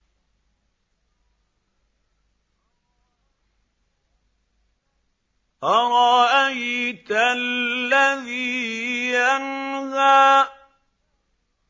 أَرَأَيْتَ الَّذِي يَنْهَىٰ